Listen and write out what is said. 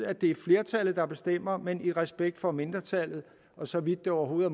at det er flertallet der bestemmer men i respekt for mindretallet og så vidt det overhovedet